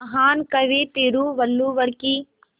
महान कवि तिरुवल्लुवर की